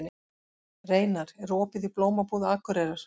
Reynar, er opið í Blómabúð Akureyrar?